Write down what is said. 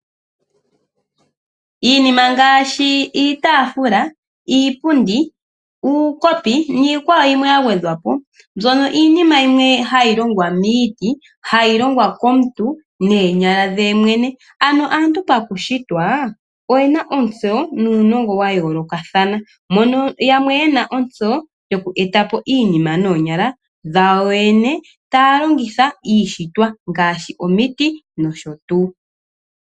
Iinima ngaashi iitaafula, iipundi, uukopi, niikwawo yimwe ya gwedhwapo, mbyono iinima yimwe ha yi longwa miiti, ha yio longwa komuntu noonyala dhe yemwene, ano aantu pakushitwa oyena ontso uunongo wa yoolokathana, mono yamwe ye na ontso yo ku etapo iinima noonyala dhayo yoyene, ta yalongitha iishitwa, ngaashi omiti, nosho tuu.